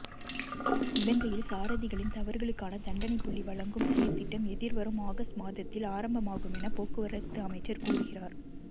இலங்கையில் சாரதிகளின் தவறுகளுக்கான தண்டனைப் புள்ளி வழங்கும் செயற்றிட்டம் எதிர்வரும் ஓகஸ்ட் மாதத்தில் ஆரம்பமாகுமென போக்குவரத்து அமைச்சர் கூறுகிறார்